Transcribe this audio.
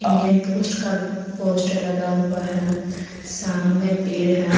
Indian post का poster लगा हुआ है सामने पेड़ है।